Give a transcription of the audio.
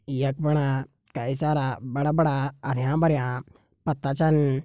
यख फणा कई सारा बड़ा-बड़ा हरयां भरयां पत्ता छन।